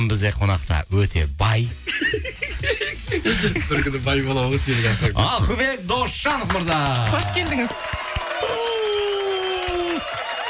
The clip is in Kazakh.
бізде қонақта өте бай бір күні бай боламын ғой сенің арқаңда ахмет досжанов мырза қош келдіңіз